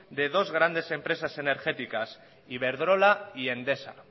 de dos grandes empresas energéticas iberdrola y endesa